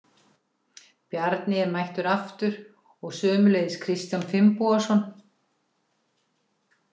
Bjarni er mættur aftur og sömuleiðis Kristján Finnbogason.